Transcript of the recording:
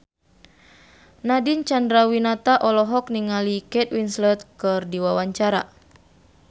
Nadine Chandrawinata olohok ningali Kate Winslet keur diwawancara